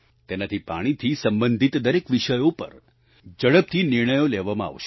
તેનાથી પાણીથી સંબંધિત દરેક વિષયો પર ઝડપથી નિર્ણયો લેવામં આવશે